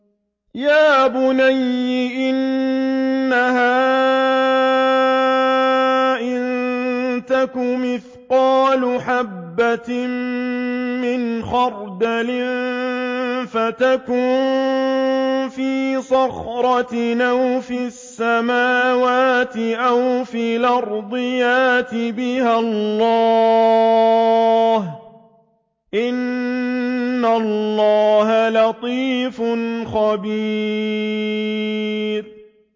يَا بُنَيَّ إِنَّهَا إِن تَكُ مِثْقَالَ حَبَّةٍ مِّنْ خَرْدَلٍ فَتَكُن فِي صَخْرَةٍ أَوْ فِي السَّمَاوَاتِ أَوْ فِي الْأَرْضِ يَأْتِ بِهَا اللَّهُ ۚ إِنَّ اللَّهَ لَطِيفٌ خَبِيرٌ